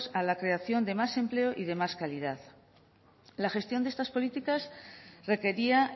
a la creación de más empleo y de más calidad la gestión de estas políticas requería